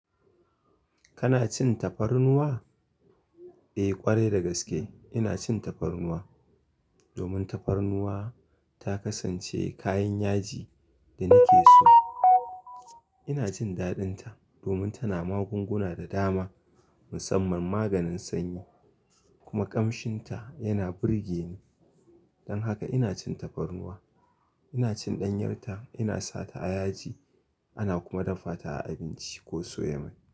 Kana cin tafarnuwa? Eh, ƙwarai da gaske, ina cin tafarnuwa. Domun tafarnuwa, ta kasance kayan yaji da nike so. Ina jin daɗinta, domin tana magunguna da dama, musamman maganin sanyi, kuma ƙamshinta yana burge ni. Dan haka ina cin tafarnuwa. Ina cin ɗanyarta, ina sa ta a yaji ana kuma dafa ta a, abinci ko soya mai.